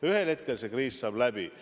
Ühel hetkel saab see kriis läbi.